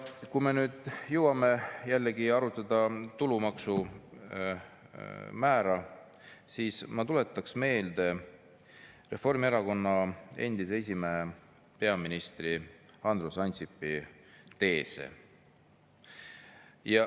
Kui me nüüd jõuame jälle tulumaksu määra arutamise juurde, siis ma tuletaks meelde Reformierakonna endise esimehe ja peaministri Andrus Ansipi teese.